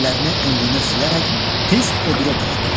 Əllərini önlüyünə silərək tez o biri otağa keçdi.